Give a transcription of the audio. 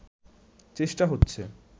চেষ্টা হচ্ছে